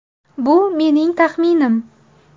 Bu mening taxminim”.